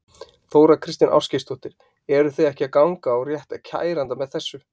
Þóra Kristín Ásgeirsdóttir: Eru þið ekki að ganga á rétt kærenda með þessu?